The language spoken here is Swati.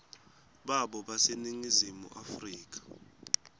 babo baseningizimu afrika